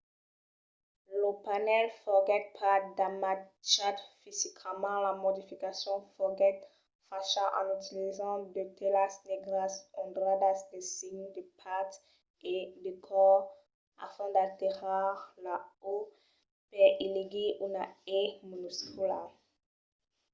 lo panèl foguèt pas damatjat fisicament; la modificacion foguèt facha en utilizant de telas negras ondradas de signes de patz e de còr a fin d'alterar la o per i legir una e minuscula